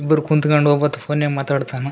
ಇಬ್ರು ಕುಂತ್ಕಂಡು ಒಬ್ಬಾತ್ತ್ ಫೋನ್ಯಾಗ್ ಮಾತಾಡ್ತ್ತಾನ.